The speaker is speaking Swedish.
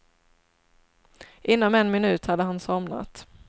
Inom en minut hade han somnat.